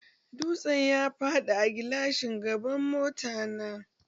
Dutsen ya faɗi a gilashin gaban mota na